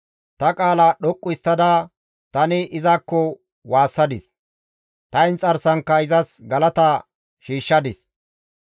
Ta qaala dhoqqu histtada tani izakko waassadis; ta inxarsankka izas galata shiishshadis.